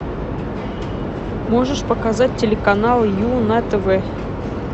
можешь показать телеканал ю на тв